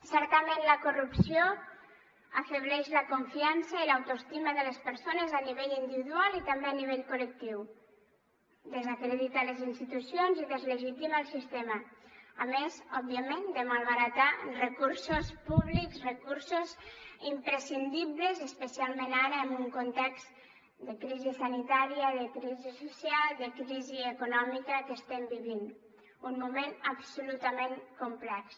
certament la corrupció afebleix la confiança i l’autoestima de les persones a nivell individual i també a nivell col·lectiu desacredita les institucions i deslegitima el sistema a més òbviament de malbaratar recursos públics recursos imprescindibles especialment ara en un context de crisi sanitària de crisi social de crisi econòmica que estem vivint un moment absolutament complex